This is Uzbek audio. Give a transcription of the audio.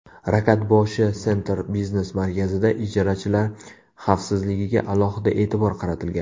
Rakatboshi Center biznes markazida ijarachilar xavfsizligiga alohida e’tibor qaratilgan.